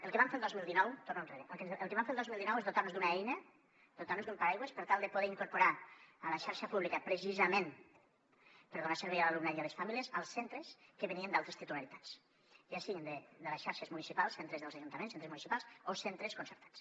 el que vam fer el dos mil dinou torno enrere és dotar nos d’una eina dotar nos d’un paraigua per tal de poder incorporar a la xarxa pública precisament per donar servei a l’alumnat i a les famílies els centres que venien d’altres titularitats ja siguin de les xarxes municipals centres dels ajuntaments centres municipals o centres concertats